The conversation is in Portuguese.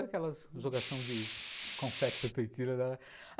Aquela jogação de confetes na.